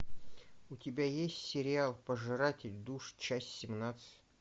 у тебя есть сериал пожиратель душ часть семнадцать